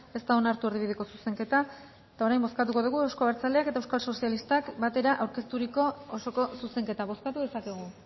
ez da onartu erdibideko zuzenketa eta orain bozkatuko dugu euzko abertzaleak eta euskal sozialistak batera aurkezturiko osoko zuzenketa bozkatu dezakegu